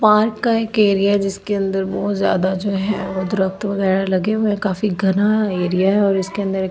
park का एक area है जिसके अंदर बहुत जादा जो है वो दुरक्‍त बगैरा लगे हुए हैं काफी घना आ ऐरिया है और उसके अंदर एक फेन --